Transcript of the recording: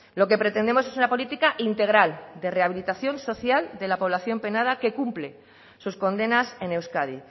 lo que pretendemos es una política integral de rehabilitación social de la población penada que cumple sus condenas en euskadi